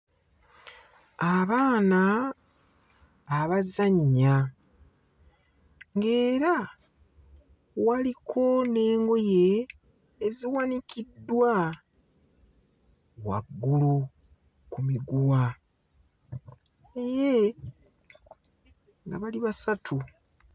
Abaana abazannya ng'era waliko n'engoye eziwanikiddwa waggulu ku muguwa naye nga bali basatu.